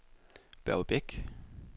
Børge Beck